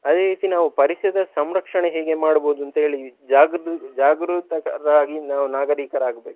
ಅದೇ ರೀತಿ ನಾವು ಪರಿಸರದ ಸಂರಕ್ಷಣೆ ಹೇಗೆ ಮಾಡ್ಬೋದು ಅಂತೇಳಿ ಜಾಗರೂ~ ಜಾಗರೂಕರಾಗಿ ನಾವು ನಾಗರೀಕರಾಗ್ಬೇಕು.